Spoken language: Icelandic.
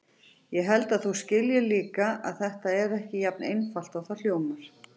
Ég held að þú skiljir líka að þetta er ekki jafn einfalt og það hljómar.